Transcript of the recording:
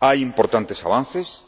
Hay importantes avances